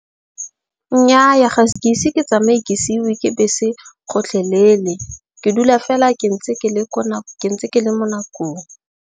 Nnyaa ga ke ise ke tsamaye ke seiwe ke bese gotlhelele. Ke dula fela ke ntse ke le ko ke ntse ke le mo nakong.